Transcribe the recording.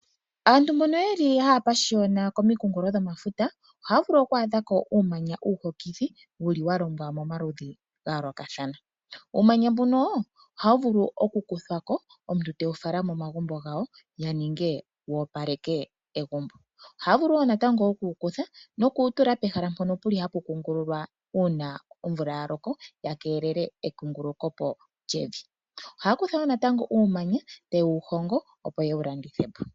Aantu mbono haya pashiyona komikunkulo dhomafuta ohaya vulu oku adha ko uumanya uuhokithi wa longwa momaludhi ga yoolokathana. Uumanya mbuno ohawu vulu okukuthwa ko, omuntu tewu fala megumbo lye wo opaleke egumbo. Ohaya vulu wo oku wu kutha noku wu tula pehala mpono hapu kungululwa uuna omvula ya loko ku keelelwe ekungululo po lyevi. Ohaya vulu wo natango okukutha uumanya taye wu hongo, opo ye wu landithe po.